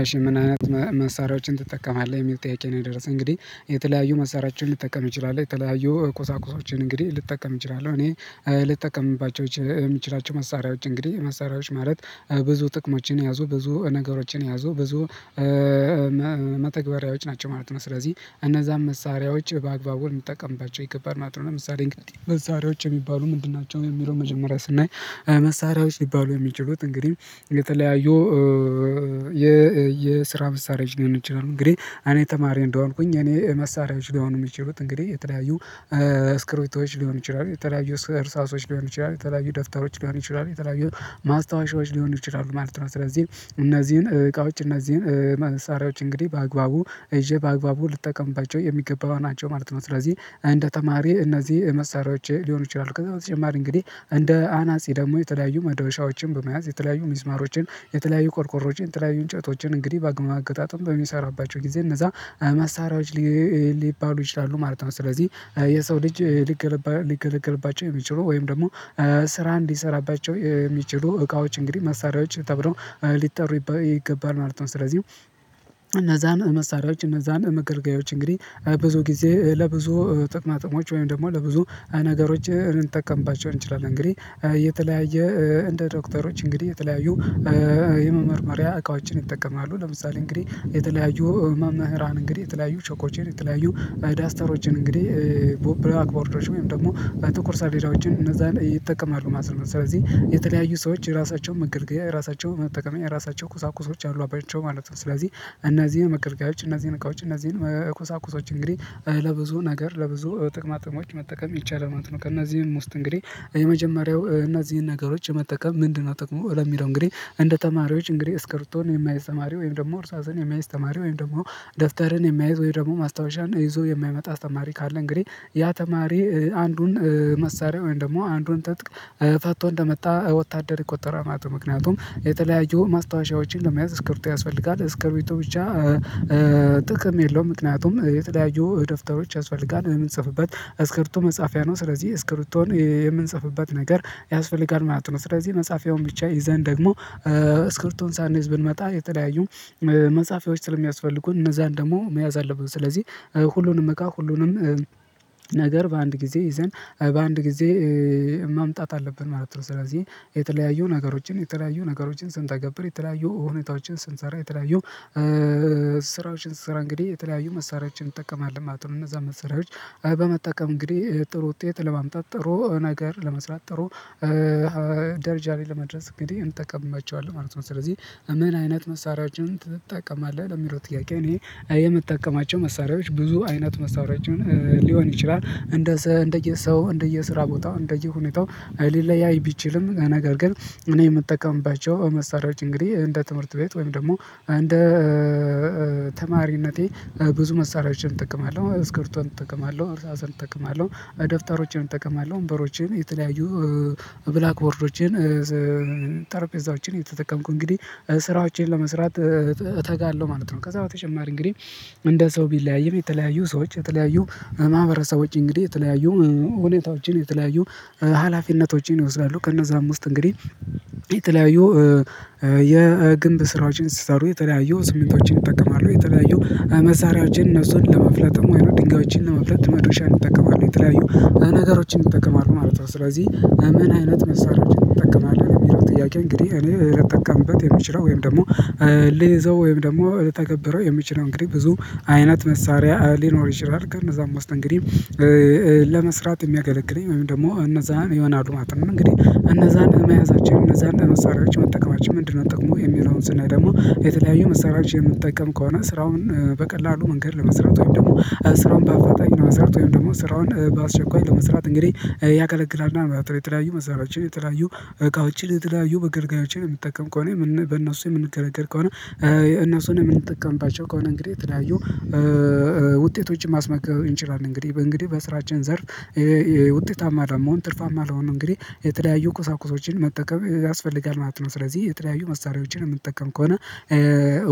እሽ ምን አይነት መሳሪያዎችን ትጠቀማለህ የሚል ጥያቄ ነው የደረሰው? እንግዲህ የተለያዩ መሳሪያችንን ልጠቀም እችላለሁ የተለያዩ ቁሳቁሶችን እንግዲህ ልጠቀም እችላለሁ እኔ ልጠቀምባቸው የምችላቸው መሳሪያዎች እንግዲህ መሳሪያዎች ማለት ብዙ ጥቅሞችን ያዙ ብዙ ነገሮችን ያዙ ብዙ መተግበሪያዎች ናቸው ማለት ነው ስለዚህ እነዛን መሳሪያዎች በአግባቡ ልንጠቀምባቸው ይገባል ማለት ነው። ምሳሌ እንግዲህ መሳሪያዎች የሚባሉ ምንድን ናቸው የሚለውን መጀመሪያ ስናይ። መሳሪያዎች የሚባሉ የሚችሉት እንግዲህ የተለያዩ የስራ መሳሪያ ዎች ሊሆን ይችላል። እንግዲህ አኔ ተማሪ እንደሆንኩኝ እኔ መሳሪያዎች ሊሆኑ የሚችሉት እንግዲህ የተለያዩ ስክሪፕቶች ሊሆን ይችላል የተለያዩ እርሳሶች ሊሆን ይችላል የተለያዩ ደብታሮች ሊሆን ይችላል የተለያዩ ማስታወሻዎች ሊሆኑ ይችላሉ ማለት ነው። ስለዚህ እነዚህን እቃዎች እነዚህን መሳሪያዎች እንግዲህ በአግባቡ ይዤ በአግባቡ ልጠቀምባቸው የሚገባው ናቸው ማለት ነው። ስለዚህ እንደ ተማሪ እነዚህ መሳሪያዎች ሊሆኑ ይችላሉ ከዛ በተጨማሪ እንግዲህ እንደ አናጺ ደግሞ የተለያዩ መዶሻዎችን በመያዝ የተለያዩ ሚስማሮችን የተለያዩ ቆርቆሮዎችን የተለያዩ እንጨቶችን እንግዲህ በማገጣጠም በሚሰራባቸው ጊዜ እነዛ መሳሪያዎች ሊባሉ ይችላሉ ማለት ነው። ስለዚህ የሰው ልጅ ሊገለግልባቸው የሚችሉ ወይም ደግሞ ስራ እንዲሰራባቸው የሚችሉ እቃዎች እንግዲህ መሳሪያዎች ተብሎ ሊጠሩ ይገባል ማለት ነው። ስለዚህ እነዛን መሳሪያዎች እነዛን መገርገያዎች እንግዲህ ብዙ ጊዜ ለብዙ ጥቅማጥቅሞች ወይም ደግሞ ለብዙ ነገሮች እንጠቀምባቸው እንችላለን። እንግዲህ የተለያየ እንደ ዶክተሮች እንግዲህ የተለያዩ የመመርመሪያ እቃዎችን ይጠቀማሉ ለምሳሌ እንግዲህ የተለያዩ መምህራን እንግዲህ የተለያዩ ቾኮቹን የተለያዩ ዳስተሮችን እንግዲህ ብላክ ቦርዶች ወይም ደግሞ ጥቁር ሰሌዳዎችን እነዛ ይጠቀማሉ ማለት ነው። ስለዚህ የተለያዩ ሰዎች የራሳቸውን መገልገያ የራሳቸውን መጠቀምያ የራሳቸውን ቁሳቁሶች አሏቸው ማለት ነው። ስለዚህ እነዚህን መገልገያዎች እነዚህን እቃዎች እነዚህን መቁሳቁሶች እንግዲህ ለብዙ ነገር ለብዙ ጥቅማ ጥቅሞች መጠቀም ይቻላል ማለት ነው። ከእናዚህም ውስጥ እንግዲህ የመጀመሪያው እናዚህነ ነገሮች መጠቀም ምንድነው? ጥቅሙ ለሚለው እንግዲህ እንደ ተማሪዎች እንግዲህ እስክርብቶን የማያይዝ ተማሪ ወይም ደግሞ እርሳስን የሚያይዝ ተማሪ ወይም ደግሞ ደፍተርን የሚያይዝ ወይም ደግሞ ማስታወሻን ይዞ የማይመጣ አስተማሪ ካለ እንግዲህ ያ ተማሪ አንዱን መሳሪያ ወይም ደግሞ አንዱን ተጥቅ ፋቶ እንደመጣ ወታደር የቆጠረ ማጥበቅ ምክንያቱም የተለያየ ማስታወሻዎችን ለመያዝ እስክርት ያስፈልጋል ስክርቢቶ ብቻ ጥቅም የለውም ምክንያቱም የተለያዩ የደብተሮች አስፈልጋል የምትጽፍበት እስክሪብቶ መጻፊያ ነው ስለዚህ እስክሪብቶን የምንጽፍበት ነገር ያስፈልጋል ማለት ነው። ስለዚህ መጻፊያውን ብቻ ይዘን ደግሞ ስክሪብቶን ሳንይዝ ብንመጣ የተለያዩ መጽሐፎች ስለሚያስፈልጉን እነዛን ደግሞ መያዝ አለበት ስለዚህ ሁሉንም እቃ ሁሉንም ነገር በአንድ ጊዜ ይዘን በአንድ ጊዜ ማምጣት አለብን ማለት ነው። ስለዚህ የተለያዩ ነገሮችን የተለያዩ ነገሮችን ስንተገብር የተለያዩ እውነታዎችን ስንሰራ የተለያዩ ስራዎችን ስራ እንግዲህ የተለያዩ መሳሪያችን ይጠቀማል ማለት ነው። እነዛ መሳሪያዎች በመጠቀም እንግዲህ ጥሩ ውጤት ለማምጣት ጥሩ ነገር ለመስራት ጥሩ ደርጃ ላይ ለመድረስ እንግዲህ እንጠቀማቸዋለን ማለት ነው። ስለዚህ ምን አይነት መሳሪያችንን ትጠቀማለህ የሚለው ጥያቄ? እኔ የምጠቀማቸው መሳሪያዎች ብዙ አይነት መሳሪያቸውን ሊሆን ይችላል እንደ እንደየ ሰው እንደየ ስራ ቦታው እንደየ ሁኔታው ሊለያይ ቢችልም ነገር ግን እኔ የምጠቀምባቸው መሳሪያዎች እንግዲህ እንደ ትምህርት ቤት ወይም ደግሞ እንደ ተማሪነቴ ብዙ መሳሪያዎችን እጠቀማለሁ እስክሪብቶን እጠቀማለሁ እርሳስን እጠቀማለሁ ደፍተሮችን እጠቀማለሁ ወንበሮችን የተለያዩ ብላክ ቦርዶችን ጠረጴዛዎችን የተጠቀምኩ እንግዲህ ስራዎቼን ለመስራት እተጋለሁ ማለት ነው። ከዛ በተጨማሪ እንግዲህ እንደ ሰው ቢለያይም የተለያዩ ሰዎች የተለያዩ ማህበረሰቦች እንግዲህ የተለያዩ ሁኔታዎችን የተለያዩ ሀላፊነቶችን ይወስዳሉ ከነዛም ውስጥ እንግዲህ የተለያዩ የግንብ ስራዎችን ሲሰሩ የተለያዩ ሲሚንቶዎችን ይጠቀማሉ የተለያዩ መሳሪያዎችን እነሱን ለመፍለጥ ወይንም ድንጋዮችን ለመፍለጥ መድረሻ ይጠቀማሉ የተለያዩ ነገሮችን ይጠቀማሉ ማለት ነው። ስለዚህ ምን አይነት መሳሪያዎችን ይጠቀማሉ የሚለው ጥያቄ? እንግዲህ እኔ ልጠቀምበት የምችለው ወይም ደግሞ ልይዘው ወይም ደግሞ ልተገብረው የምችለው እንግዲህ ብዙ አይነት መሳሪያ ሊኖር ይችላል። ከነዛ አምስት እንግዲህ ለመስራት የሚያገለግለኝ ወይም ደግሞ እነዛን ይሆናሉ ማለት እንግዲህ እነዛን መያዛቸው እነዛን መሳሪያቸው መጠቀማቸው ምንድነው ጠቅሙ የሚለውን ስናይ ደግሞ የተለያዩ መሳሪያዎች መጠቀም ከሆነ ስራውን በቀላሉ መንገድ ለመስራት ወይም ደግሞ ስራውን በአፋጣን ወይም ደግሞ ስራውን በአስቸኳይ ለመስራት እንግዲህ ያገለግላል። እና ማለት ነው። የተለያዩ መሳሪያዎችን የተለያዩ እቃዎችን የተለያዩ መገልገያዎችን የምትጠቀም ከሆነ በእነርሱ የምንገለገል ከሆነ የእነሱን የምንጠቀምባቸው ከሆነ እንግዲህ የተለያዩ ውጤቶችን ማስመዝገብ እንችላለን እንግዲህ በእንግዲህ በስራችን ዘርፍ ውጤታማ አለው መሆን ትርፋማ አለው ነው። እንግዲህ የተለያዩ ቁሳቁሶችን መጠቀም ያስፈልጋል ማለት ነው። ስለዚህ የተለያዩ መሳሪያዎችን የምንጠቀም ከሆነ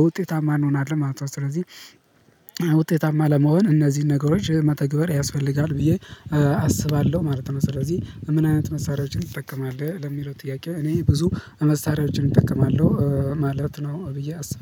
ውጤታማ እንሆናለን ማለት ነው። ስለዚህ ውጤታማ ለመሆን እነዚህን ነገሮች መተግበር ያስፈልጋል ብዬ አስባለሁ ማለት ነው። ስለዚህ ምን አይነት መሳሪያዎችን ትጠቀማለህ ለሚለው ጥያቄ? እኔ ብዙ መሳሪያዎችን እጠቀማለሁ ማለት ነው ብዬ አስባለሁ